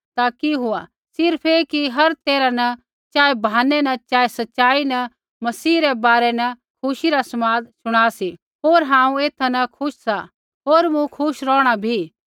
ता कि हुआ सिर्फ़ ऐ कि हर तैरहै न चाहे बहाने न चाहे सच़ाई न मसीह रै बारै न खुशी रा समाद शुणा सी होर हांऊँ एथा न खुश सा होर मूँ खुश रौहणा भी